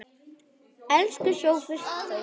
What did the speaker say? Elsku Sófus Þór.